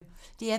DR P1